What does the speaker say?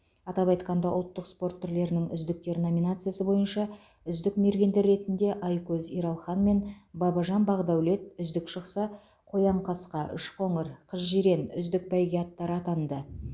атап айтқанда ұлттық спорт түрлерінің үздіктер номинациясы бойынша үздік мергендер ретінде айкөз ералхан мен бабажан бақдәулет үздік шықса қоянқасқа үшқоңыр қызжирен үздік бәйге аттары атанды